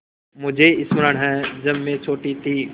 मुझे स्मरण है जब मैं छोटी थी